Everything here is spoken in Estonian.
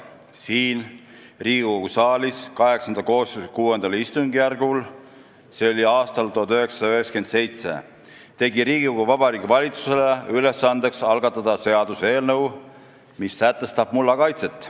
Siinsamas saalis – see oli VIII koosseisu VI istungjärgul aastal 1997 – tegi Riigikogu Vabariigi Valitsusele ülesandeks algatada seaduseelnõu, mis sätestab mulla kaitset.